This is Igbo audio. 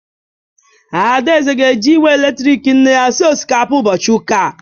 Adaeze ga-eji igwe eletrik nne ya sie osikapa ụbọchị ụka